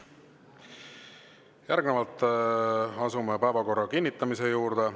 Järgnevalt asume päevakorra kinnitamise juurde.